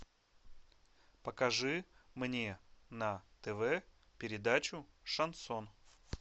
покажи мне на тв передачу шансон